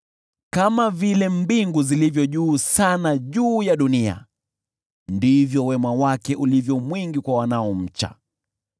Kama vile mbingu zilivyo juu ya dunia sana, ndivyo wema wake ulivyo mwingi kwa wanaomcha;